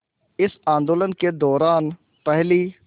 इस आंदोलन के दौरान पहली